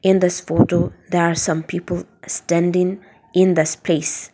in this photo there are some people standing in the space.